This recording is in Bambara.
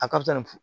A ka ca ni fu